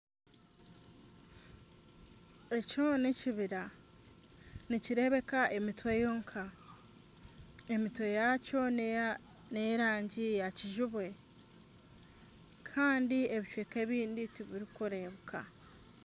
Ekyo nekibira. Nikirebeka emitwe yonka. Emitwe yakyo neyerangi ya kijubwe kandi ebicweka ebindi tibirikurebeka.